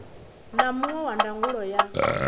na muṅwe wa ndangulo ya